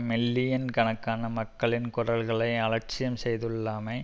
million கணக்கான மக்களின் குரல்களை அலட்சியம் செய்துள்ளமை